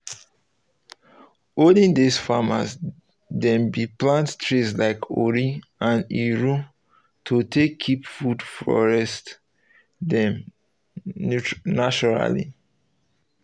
olden days farmers dem bin plant trees like ori and iru to take keep food forests dem naturally